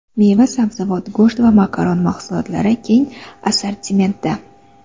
Meva-sabzavot, go‘sht va makaron mahsulotlari keng assortimentda.